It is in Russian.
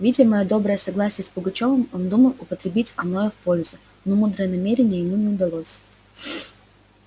видя моё доброе согласие с пугачёвым он думал употребить оное в пользу но мудрое намерение ему не удалось